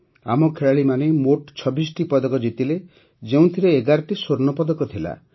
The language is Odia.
ଆମ ଖେଳାଳିମାନେ ମୋଟ ୨୬ଟି ପଦକ ଜିତିଲେ ଯେଉଁଥିରେ ୧୧ଟି ସ୍ୱର୍ଣ୍ଣପଦକ ଥିଲା